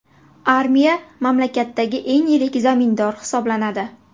Armiya mamlakatdagi eng yirik zamindor hisoblanadi.